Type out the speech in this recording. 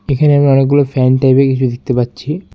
এখানে আমি অনেকগুলো ফ্যান টাইপের কিছু দেখতে পাচ্ছি।